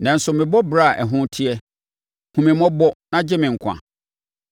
Nanso mebɔ ɔbra a ɛho teɛ. Hu me mmɔbɔ na gye me nkwa.